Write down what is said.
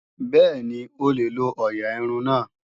Bẹ́ẹ̀ni, o lè lo ọ̀ọ̀yà irun náà